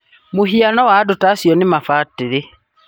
mũhiano wa andũ ta acio nĩ mabadĩrĩ